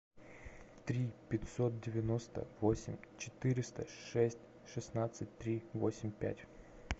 три пятьсот девяносто восемь четыреста шесть шестнадцать три восемь пять